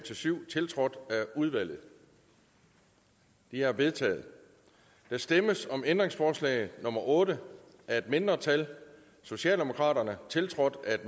syv tiltrådt af udvalget de er vedtaget der stemmes om ændringsforslag nummer otte af et mindretal tiltrådt af